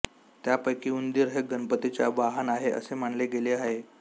त्यापैकी उंदीर हे गणपतीचे वाहन आहे असे मानले गेले आहे